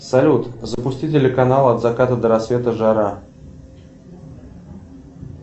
салют запусти телеканал от заката до рассвета жара